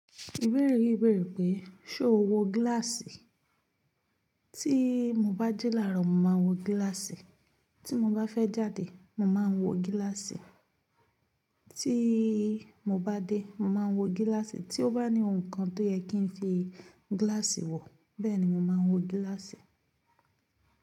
Ìbéèrè yi béèrè pé: ṣe o wo gíláàsì? Tí mo bá ji laarọ, mo màá n wo gíláàsì. Tí mo bá fẹ́ jáde, màá wo gíláàsì. Tí mo bá dé, màá wo gíláàsì. Tí ó bá ní ohùn kan tó yẹ kí n fi gíláàsì wo, bẹ́ẹ̀ ni màá wo gíláàsì.